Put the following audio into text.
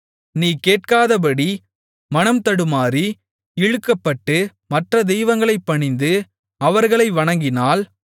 நீ கேட்காதபடி மனம் தடுமாறி இழுக்கப்பட்டு மற்ற தெய்வங்களைப் பணிந்து அவர்களை வணங்கினால்